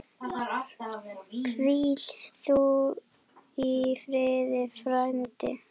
Hvíl þú í friði frændi.